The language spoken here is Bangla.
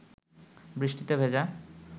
বৃষ্টিতে ভেজা